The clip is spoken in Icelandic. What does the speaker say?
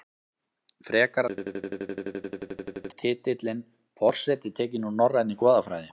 Frekara lesefni á Vísindavefnum Er titillinn forseti tekinn úr norrænni goðafræði?